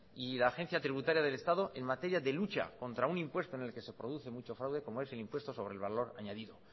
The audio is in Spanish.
y la agencia tributaria del estado en materia de lucha contra un impuesto en el que se produce mucho fraude como es el impuesto sobre el valor añadido